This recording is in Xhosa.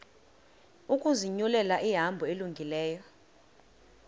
ukuzinyulela ihambo elungileyo